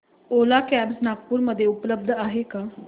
ओला cabs Nagpur मध्ये उपलब्ध आहे का